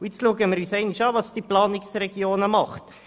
Nun schauen wir uns einmal an, was die Planungsregionen tun.